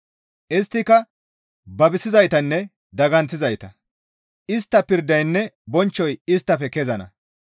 Isttika babisizaytanne daganththizayta; istta pirdaynne bonchchoy isttafe kezana.